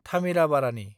Thamirabarani